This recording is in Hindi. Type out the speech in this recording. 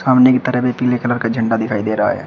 सामने की तरफ ये पीले कलर का झंडा दिखाई दे रहा है।